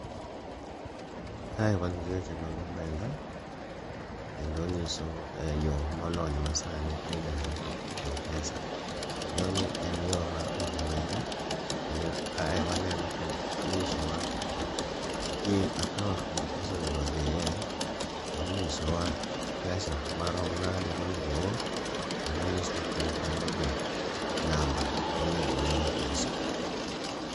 Kae wan gi weche mag omenda, kendo onyiso e yo molony ma sani midendo ni Mpesa. Yoni en yo mar oro omenda, kendo kae waneno ka inyisowa nying akaont kuma pesa onego odhiye. Kendinyisowa pesa maron made monego oor, kendo onyisowa piny kanyo be namba monego oore pesa.